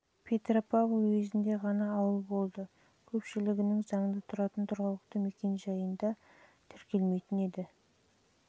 ауыл петропавл уезінде ғана ауыл болды көпшілігінің заңды тұратын тұрғылықты мекен-жайында тіркелмейтін еді